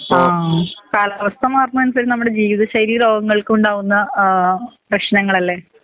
ആ കാലാവസ്ഥ മാറുന്ന അനുസരിച്ച് നമ്മുടെ ജീവിത ശൈലി രോഗങ്ങൾക്കുണ്ടാവുന്ന ഏഹ് പ്രേശ്നങ്ങളലെ